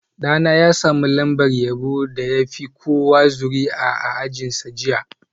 Ɗana ya sami lambar yabo na yaron da ya fi kowa zuri'a a ajinsa jiya